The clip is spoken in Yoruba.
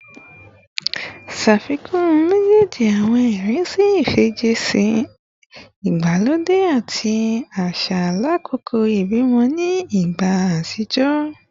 Ṣafikun mejeeji awọn irinṣẹ ifijiṣẹ igbalode ati ti aṣa lakoko ibimọ ni igba atijọ